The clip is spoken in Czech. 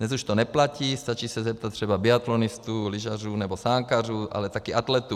Dnes už to neplatí, stačí se zeptat třeba biatlonistů, lyžařů nebo sáňkařů, ale také atletů.